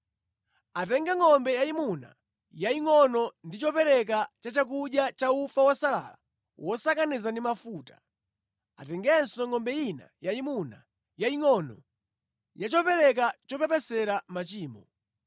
Atenge ngʼombe yayimuna yayingʼono ndi chopereka cha chakudya cha ufa wosalala wosakaniza ndi mafuta. Atengenso ngʼombe ina yayimuna, yayingʼono, ya chopereka chopepesera machimo.